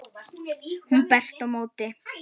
Hún berst á móti.